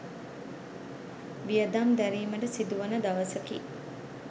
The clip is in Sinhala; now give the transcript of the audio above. වියදම් දැරීමට සිදුවන දවසකි.